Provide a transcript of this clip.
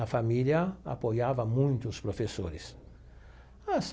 A família apoiava muito os professores.